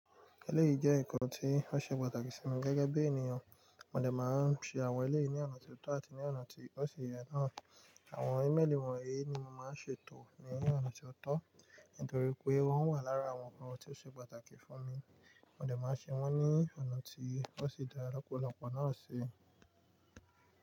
Ẹlẹ́yìí jẹ́ ǹkan tí ó ṣe pàtàkì sí mi gẹ́gẹ́ bí ènìyàn. Móde maa n ṣe àwọn ẹlẹ́yìí ní ọ̀nà tó tọ́ àti ní ọ̀nà tí ó ṣi yẹ náà. Àwọn ímélì wọ̀nyí ni mo máa n ṣètò ní ọ̀nà ti o tọ́, nítorí pé wọ́n wà lára àwọn ǹkan tí ó ṣe pàtàkì fún mi. Móde ma ṣe wọ́n ní ọ̀nà tí ó ṣi dá lọ́pọ̀lọpọ̀ náà ṣi.